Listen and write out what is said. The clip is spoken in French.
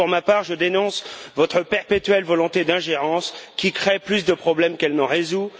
Pour ma part, je dénonce votre perpétuelle volonté d'ingérence, qui crée plus de problèmes qu'elle n'en résout.